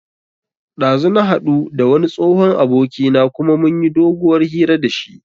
Ɗazu na haɗu da wani tsohon abokina kuma mun yi doguwar hira da shi